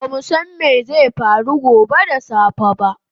Bamu san mai zai faru gobe da safe ba